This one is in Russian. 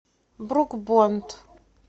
брук бонд